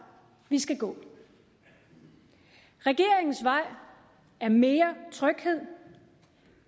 vi skal gå regeringens vej er mere tryghed